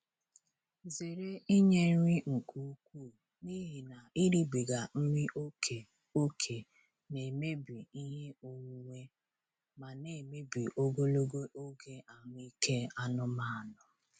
Zere inye nri nke ukwuu n'ihi na iribiga nri ókè ókè na-emebi ihe onwunwe ma na-emebi ogologo oge ahụ ike anụmanụ.